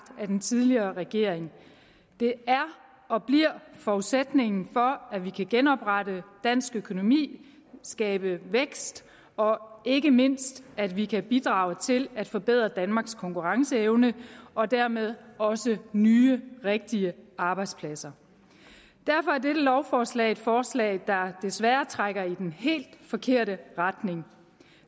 af den tidligere regering det er og bliver forudsætningen for at vi kan genoprette dansk økonomi skabe vækst og ikke mindst at vi kan bidrage til at forbedre danmarks konkurrenceevne og dermed også nye rigtige arbejdspladser derfor er dette lovforslag et forslag der desværre trækker i den helt forkerte retning